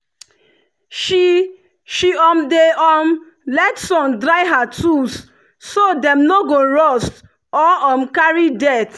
she she um dey um let sun dry her tools so dem no go rust or um carry dirt.